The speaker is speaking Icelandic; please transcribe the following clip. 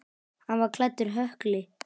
Hann var klæddur hökli.